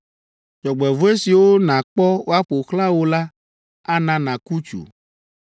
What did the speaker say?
Dzɔgbevɔ̃e siwo nàkpɔ woaƒo xlã wò la ana nàku tsu.